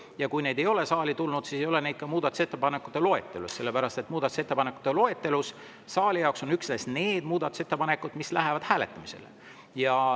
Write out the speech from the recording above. Ja kui need ei ole saali tulnud, siis ei ole neid ka muudatusettepanekute loetelus, sellepärast et muudatusettepanekute loetelus on üksnes need muudatusettepanekud, mis lähevad saalis hääletamisele.